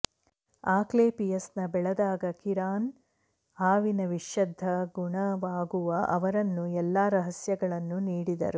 ಆಕ್ಲೆಪಿಯಸ್ನ ಬೆಳೆದಾಗ ಕಿರಾನ್ ಹಾವಿನ ವಿಷದ್ದ ಗುಣವಾಗುವ ಅವರನ್ನು ಎಲ್ಲಾ ರಹಸ್ಯಗಳನ್ನು ನೀಡಿದರು